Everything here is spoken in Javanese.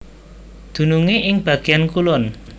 Dunungé ing bagéan kulon